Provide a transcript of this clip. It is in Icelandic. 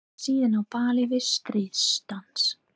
Brenna það síðan á báli við stríðsdans.